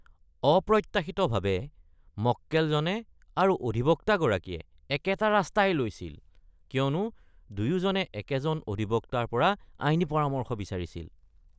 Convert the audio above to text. অপ্ৰত্যাশিতভাৱে, মক্কেলজনে আৰু অধিবক্তাগৰাকীয়ে একেটা ৰাস্তাই লৈছিল কিয়নো দুয়োজনে একেজন অধিবক্তাৰ পৰাই আইনী পৰামৰ্শ বিচাৰিছিল।